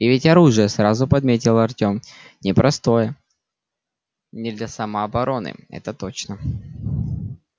и ведь оружие сразу подметил артем непростое не для самообороны это точно